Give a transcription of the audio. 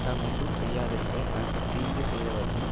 தான் ஒன்றும் செய்யாதிருக்க தனக்கு தீங்கு செய்தவர்க்கும்